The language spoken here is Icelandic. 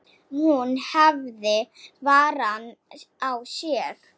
Hún hafði varann á sér.